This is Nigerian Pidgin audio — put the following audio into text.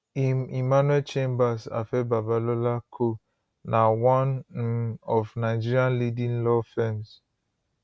im emmanuel chambers afe babalola co na one um of nigeria leading law firms